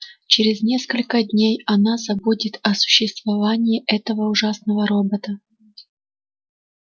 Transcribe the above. через несколько дней она забудет о существовании этого ужасного робота